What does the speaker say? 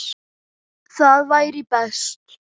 Það væri best.